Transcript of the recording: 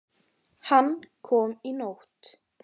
Hann kom í nótt.